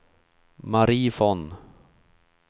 Mari Von